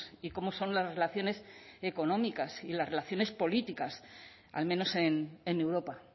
y cómo son las relaciones económicas y las relaciones políticas al menos en europa